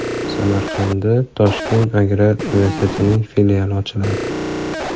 Samarqandda Toshkent agrar universitetining filiali ochiladi.